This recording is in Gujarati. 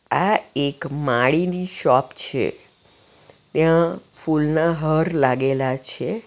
આ એક માળીની શોપ છે ત્યાં ફૂલના હાર લાગેલા છે.